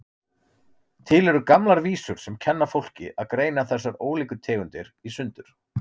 Til eru gamlar vísur sem kenna fólki að greina þessar ólíku tegundir í sundur,